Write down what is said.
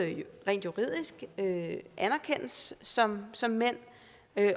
rent juridisk anerkendes som som mænd